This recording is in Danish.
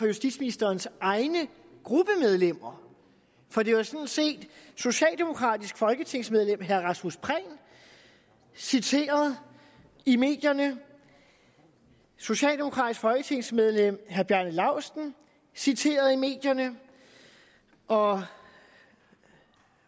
justitsministerens egne gruppemedlemmer for det var sådan set socialdemokratisk folketingsmedlem herre rasmus prehn citeret i medierne socialdemokratisk folketingsmedlem herre bjarne laustsen citeret i medierne og